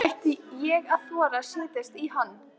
Ætti ég að þora að setjast í hann?